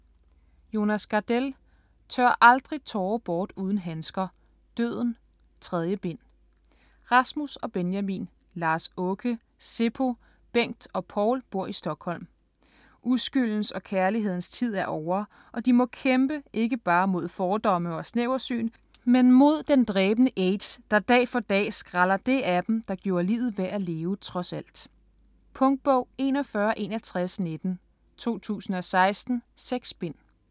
Gardell, Jonas: Tør aldrig tårer bort uden handsker: Døden: 3. bind Rasmus og Benjamin, Lars-Åke, Seppo, Bengt og Paul bor i Stockholm. Uskyldens og kærlighedens tid er ovre, og de må kæmpe, ikke bare mod fordomme og snæversyn, men mod den dræbende aids, der dag for dag skræller det af dem, der gjorde livet værd at leve trods alt. Punktbog 416119 2016. 6 bind.